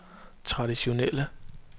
traditionelle